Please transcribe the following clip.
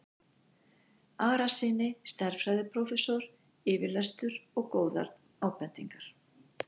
Arasyni stærðfræðiprófessor yfirlestur og góðar ábendingar.